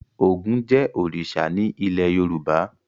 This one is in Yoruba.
Ògún jẹ́ òrìṣà ní ilé Yorùbá.